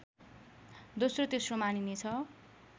दोस्रो तेस्रो मानिनेछ